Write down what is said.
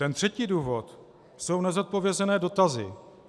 Ten třetí důvod jsou nezodpovězené dotazy.